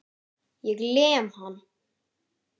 Ég lem hann.